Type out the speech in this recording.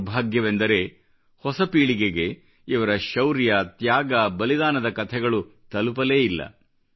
ದೌರ್ಭಾಗ್ಯವೆಂದರೆ ಹೊಸ ಪೀಳಿಗೆಗೆ ಇವರ ಶೌರ್ಯ ತ್ಯಾಗ ಬಲಿದಾನದ ಕಥೆಗಳು ತಲುಪಲೇ ಇಲ್ಲ